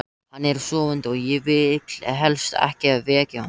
Hann er sofandi og ég vil helst ekki vekja hann.